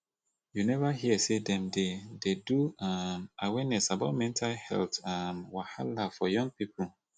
you neva hear sey dem dey dey do um awareness about mental health um wahala for young pipo